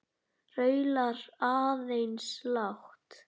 Raular aðeins lágt.